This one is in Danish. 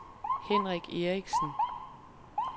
Henrik Eriksen